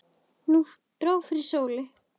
Nú dró fyrir sólu.